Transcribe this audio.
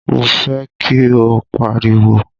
Mo fẹ́ kí ó pariwo!